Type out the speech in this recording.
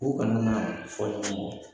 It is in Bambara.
U kana na fɔɲɔgɔn kɔ.